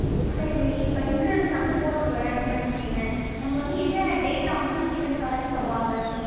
சரி, இப்ப insurance நான் வந்து போடப்போறேன் அப்படீன்னு வச்சுக்கயேன், நம்ம வந்து என்ன data வந்து நம்ம கிட்ட இருந்து collect பண்ணுவாங்க.